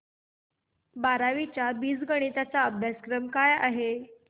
बारावी चा बीजगणिता चा अभ्यासक्रम काय आहे